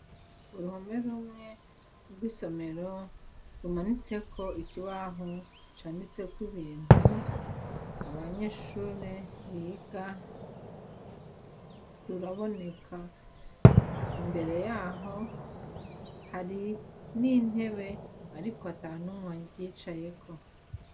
Uruhome rumwe rw'isomero rumanitseko ikibaho canditseko ibintu abanyeshure biga, ruraboneka imbere yaho hari n'intebe, ariko ata n'umwe ayicayeko.